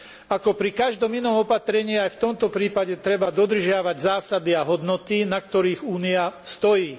Ako pri každom inom opatrení, aj v tomto prípade treba dodržiavať zásady a hodnoty, na ktorých Únia stojí.